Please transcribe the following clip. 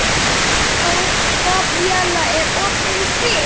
Gabríella, er opið í Kvikk?